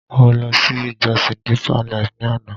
Mo ló sí ìjosìn Deeper life ni àná